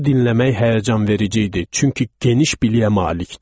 Onu dinləmək həyəcanverici idi, çünki geniş biliyə malikdir.